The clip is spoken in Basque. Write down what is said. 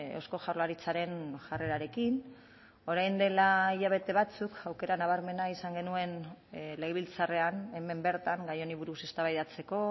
eusko jaurlaritzaren jarrerarekin orain dela hilabete batzuk aukera nabarmena izan genuen legebiltzarrean hemen bertan gai honi buruz eztabaidatzeko